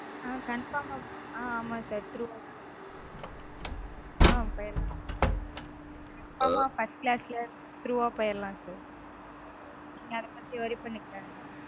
ஆஹ் confirm -ஆ ஆஹ் ஆமா sir. Through -ஆதா. ஆஹ் போயிரலாம் sir confirm -ஆ first class -ல through -வா போயிரலாம் sir. நீங்க அத பத்தி worry பண்ணிக்காதிங்க